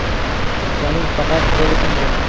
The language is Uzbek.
Qizchaning faqat qo‘li singan.